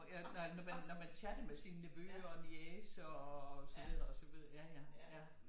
Ja når man chatter med sine nevøer og niecer og så videre og så videre ja ja